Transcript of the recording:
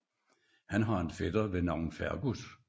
Han har en fætter ved navn Fergus